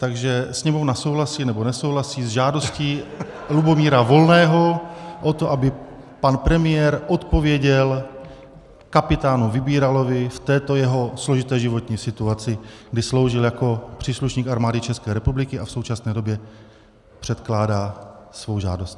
Takže Sněmovna souhlasí, nebo nesouhlasí s žádostí Lubomíra Volného o to, aby pan premiér odpověděl kapitánu Vybíralovi v této jeho složité životní situaci, kdy sloužil jako příslušník Armády České republiky, a v současné době předkládá svou žádost.